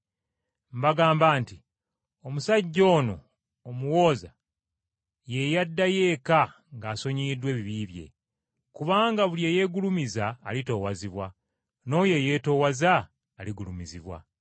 “Mbagamba nti omusajja ono, omuwooza ye yaddayo eka ng’asonyiyiddwa ebibi bye. Kubanga buli eyeegulumiza alitoowazibwa, n’oyo eyeetoowaza aligulumizibwa.”